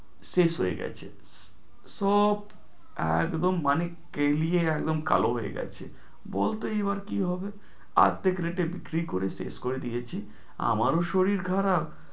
শেষ হয়ে গেছে, সব একদম মানে কেলিয়ে একদম কালো হয়ে গেছে, বল তুই কি হবে, অর্ধেক rate এ বিক্রি করে শেষ করে দিয়েছি, আমারও শরীর খারাপ